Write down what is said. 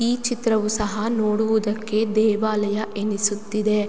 ಈ ಚಿತ್ರವೂ ಸಹ ನೋಡುವುದಕ್ಕೆ ದೇವಾಲಯ ಎನಿಸುತ್ತಿದೆ.